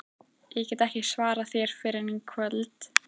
Ég get ekki svarað þér fyrr en í kvöld